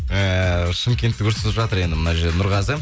ыыы шымкентті көрсетіп жатыр енді мына жерде нұрғазы